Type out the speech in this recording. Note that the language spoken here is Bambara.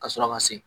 Ka sɔrɔ ka se